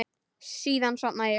Síðan sofnaði ég.